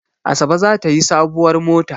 Asabe za ta yi sabuwar mota.